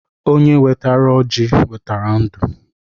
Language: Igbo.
Onye wetara kola eweta ndu